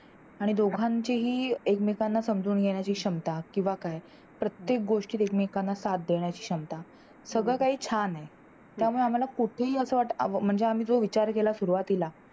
आणि दोघांचीही एकमेकांना समजून घेण्याची क्षमता किंवा काय प्रत्येक गोष्टीत एकमेकांना साथ देण्याची क्षमता सगळ काही छान हे त्यामुळे आम्हाला कुठेही असं वाटत म्हणजे आम्ही जो विचार केला सुरुवातीला